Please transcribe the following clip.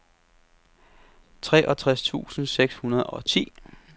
treogtres tusind seks hundrede og ti